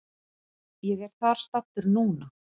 Ég er þar staddur núna.